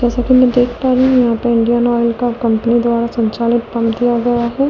जैसा कि मैं देख पा रहे हैं यहां पर इंडियन ऑयल का कंपनी द्वारा संचालित प दिया गया है।